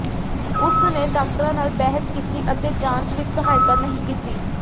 ਉਸਨੇ ਡਾਕਟਰਾਂ ਨਾਲ ਬਹਿਸ ਕੀਤੀ ਅਤੇ ਜਾਂਚ ਵਿਚ ਸਹਾਇਤਾ ਨਹੀਂ ਕੀਤੀ